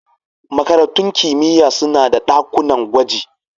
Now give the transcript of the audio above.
Makarantun kimiyya suna da ɗakunan gwaji.